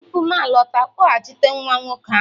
tupu m alọta, kpọghachite nwa nwoke ahụ!